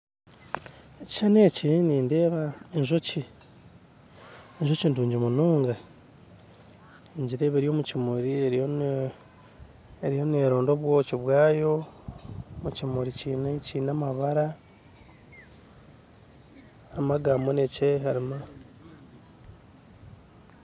Ekishushani eki nindeeba enjoki enjoki nungi munonga ningireba eri omu kimuri eriyo eriyo neeronda obwoki bwayo omu kimuri kiine kiine amabara harimu aga kinekye harimu